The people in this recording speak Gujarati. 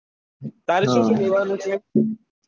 તારે શું શું લેવા નું છે?